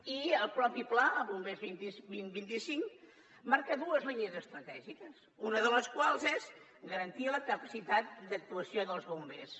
i el mateix pla bombers dos mil vint cinc marca dues línies estratègiques una de les quals és garantir la capacitat d’actuació dels bombers